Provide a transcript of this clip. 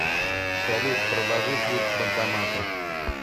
салют проложи путь к банкомату